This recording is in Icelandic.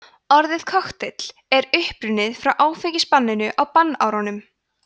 orðið kokteill er upprunnið frá áfengisbanninu á bannárunum